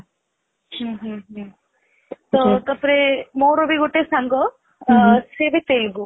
ହୁଁ ହୁଁ ହୁଁ ତ ମୋର ବି ଗିତେ ସାଙ୍ଗ ସେଇ ବି ସେଇଠୁ